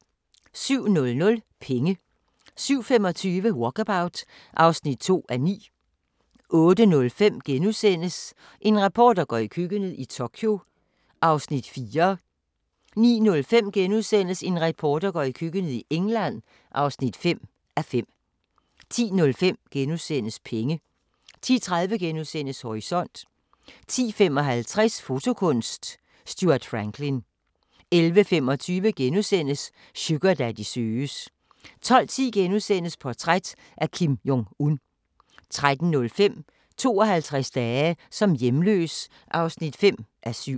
07:00: Penge 07:25: Walkabout (2:9) 08:05: En reporter går i køkkenet – i Tokyo (4:5)* 09:05: En reporter går i køkkenet – i England (5:5)* 10:05: Penge * 10:30: Horisont * 10:55: Fotokunst: Stuart Franklin 11:25: Sugardaddy søges * 12:10: Portræt af Kim Jong-un * 13:05: 52 dage som hjemløs (5:7)